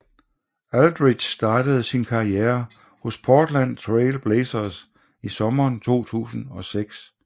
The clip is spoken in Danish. Aldridge startede sin karriere hos Portland Trail Blazers i sommeren 2006